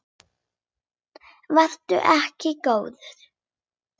Vertu ekki góður.